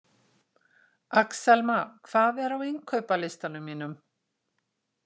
Axelma, hvað er á innkaupalistanum mínum?